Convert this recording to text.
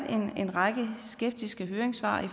en række skeptiske høringssvar